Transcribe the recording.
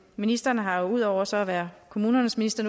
ministeren har jo ud over så at være kommunernes minister